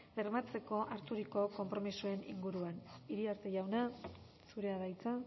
bermatzeko harturiko konpromisoaren inguruan iriarte jauna zurea da hitza